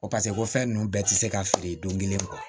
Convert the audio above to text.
Ko ko fɛn ninnu bɛɛ tɛ se ka feere don kelen kɔ